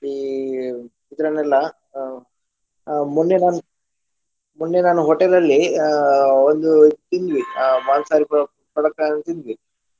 ಈ ಇದ್ರನೆಲ್ಲಾ ಅಹ್ ಅಹ್ ಮೊನ್ನೆ ನಾನು ಮೊನ್ನೆ ನಾನು hotel ಅಲ್ಲಿ ಅಹ್ ಒಂದು ತಿಂದ್ವಿ ಆ ಮಾಂಸಾಹಾರಿ ಪ~ ಪದಾರ್ಥ ಎಲ್ಲ ತಿಂದ್ವಿ.